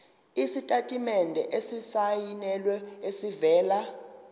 isitatimende esisayinelwe esivela